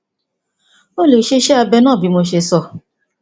o lè ṣe iṣẹ abẹ náà bí mo ṣe sọ